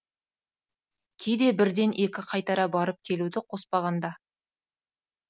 кейде бірден екі қайтара барып келуді қоспағанда